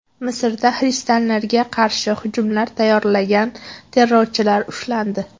Misrda xristianlarga qarshi hujumlar tayyorlagan terrorchilar ushlandi.